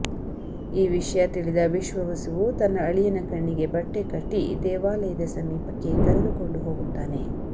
ಈ ವಿಷಯ ತಿಳಿದ ವಿಶ್ವವಸುವು ತನ್ನ ಅಳಿಯನ ಕಣ್ಣಿಗೆ ಬಟ್ಟೆ ಕಟ್ಟಿ ದೇವಾಲಯದ ಸಮೀಪಕ್ಕೆ ಕರೆದುಕೊಂಡು ಹೋಗುತ್ತಾನೆ